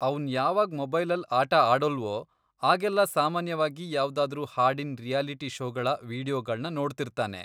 ಅವ್ನ್ ಯಾವಾಗ್ ಮೊಬೈಲಲ್ ಆಟ ಆಡೋಲ್ವೋ, ಆಗೆಲ್ಲ ಸಾಮಾನ್ಯವಾಗಿ ಯಾವ್ದಾದ್ರೂ ಹಾಡಿನ್ ರಿಯಾಲಿಟಿ ಷೋಗಳ ವಿಡಿಯೋಗಳ್ನ ನೋಡ್ತಿರ್ತಾನೆ.